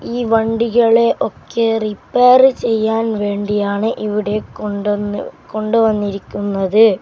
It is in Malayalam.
ഈ വണ്ടികളെയൊക്കെ റിപ്പയർ ചെയ്യാൻ വേണ്ടിയാണ് ഇവിടെ കൊണ്ടോന്നു കൊണ്ടുവന്നിരിക്കുന്നത്.